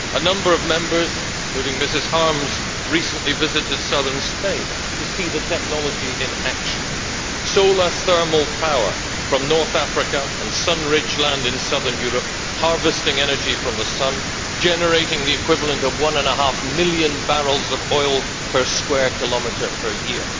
A number of Members, including Ms Harms, recently visited southern Spain to see the technology in action solar thermal power from North Africa and sun rich land in southern Europe harvesting energy from the sun, generating the equivalent of one and a half million barrels of oil per square kilometre per year.